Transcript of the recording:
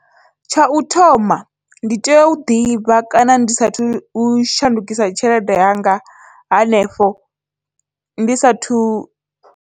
Tsha u thoma ndi tea u ḓivha kana ndi saathu u shandukisa tshelede yanga hanefho ndi sathu.